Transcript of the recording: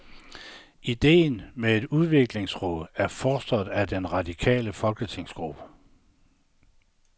Idéen med et udviklingsråd er fostret af den radikale folketingsgruppe.